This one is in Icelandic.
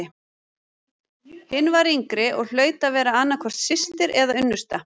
Hin var yngri og hlaut að vera annað hvort systir eða unnusta.